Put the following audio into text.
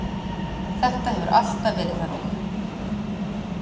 Það hefur alltaf verið þannig.